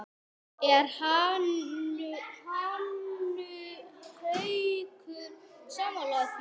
Er Haukur sammála því?